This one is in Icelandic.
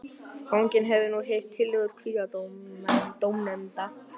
Fanginn hefur nú heyrt tillögur kviðdómenda.